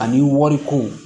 Ani wari ko